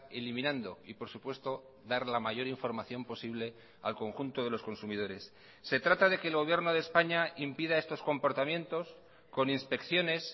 eliminando y por supuesto dar la mayor información posible al conjunto de los consumidores se trata de que el gobierno de españa impida estos comportamientos con inspecciones